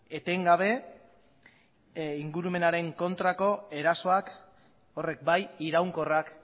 etengabe ingurumenaren kontrako erasoak horrek bai iraunkorrak